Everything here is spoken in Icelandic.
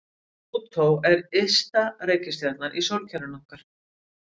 Plútó er ysta reikistjarnan í sólkerfinu okkar.